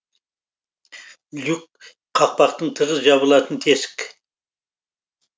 люк қақпақтың тығыз жабылатын тесік